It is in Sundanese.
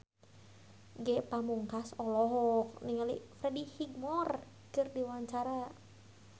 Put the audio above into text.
Ge Pamungkas olohok ningali Freddie Highmore keur diwawancara